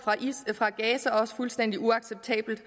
fra gaza også fuldstændig uacceptabelt